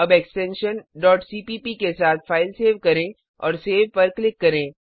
अब extension dot cpp के साथ फ़ाइल सेव करें और सेव पर क्लिक करें